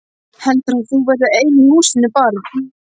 Heldurðu að þú verðir ein í húsinu barn!